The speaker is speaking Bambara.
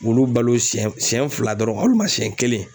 Olu balo siɲɛ siɲɛ fila dɔrɔn hali ma siɲɛ kelen